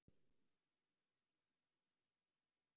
Það yrði saga til næsta bæjar ef við náum að vinna þann leik.